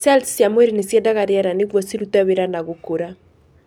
Cells cĩa mwĩrĩ nĩ ciendaga riera nĩguo cirute wira na gũkũra.